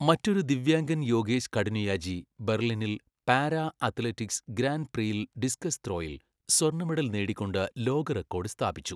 മറ്റൊരു ദിവ്യാംഗൻ യോഗേശ് കഠുനിയാജി ബർളിനിൽ പാരാ അത്ലറ്റിക്സ് ഗ്രാന്റ് പ്രീയിൽ ഡിസ്കസ് ത്രോയിൽ സ്വർണ്ണ മെഡൽ നേടിക്കൊണ്ട് ലോക റെക്കോഡ് സ്ഥാപിച്ചു.